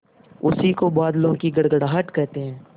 उसी को बादलों की गड़गड़ाहट कहते हैं